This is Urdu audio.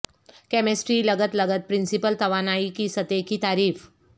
کیمسٹری لغت لغت پرنسپل توانائی کی سطح کی تعریف